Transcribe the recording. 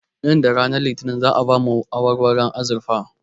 Nan da ranar litinin za'a ba mu awarwaron azurfa